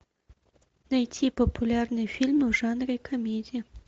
найти популярные фильмы в жанре комедия